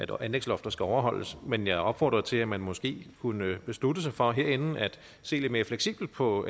jo at anlægslofter skal overholdes men jeg opfordrede til at man måske kunne beslutte sig for at se lidt mere fleksibelt på